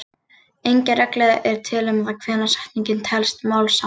Engin regla er til um það hvenær setning telst málsháttur.